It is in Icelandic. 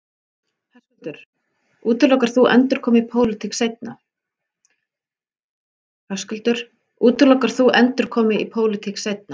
Höskuldur: Útilokar þú endurkomu í pólitík seinna?